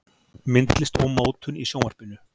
Myndlist og mótun í Sjónvarpinu